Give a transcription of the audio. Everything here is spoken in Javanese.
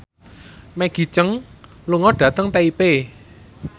Maggie Cheung lunga dhateng Taipei